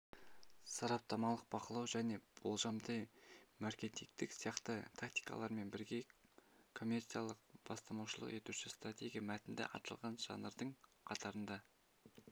сараптамалықбақылау және болжалды-маркетингтік сияқты тактикаларымен бірге коммерциялық-бастамашылық етуші стратегия мәтінді аталған жанрдың қатарында